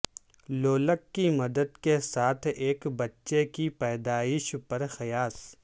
لولک کی مدد کے ساتھ ایک بچے کی پیدائش پر قیاس